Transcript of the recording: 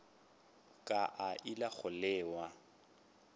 ka a ile go lewa